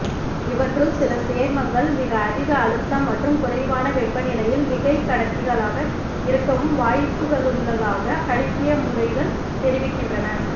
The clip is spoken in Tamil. இவற்றுள் சில சேர்மங்கள் மிக அதிக அழுத்தம் மற்றும் குறைவான வெப்பநிலையில் மிகைகடத்திகளாக இருக்கவும் வாய்ப்புகளுள்ளதாக கணிப்பிய முறைகள் தெரிவிக்கின்றன